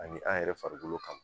Ani an yɛrɛ farikolo kama